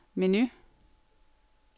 menu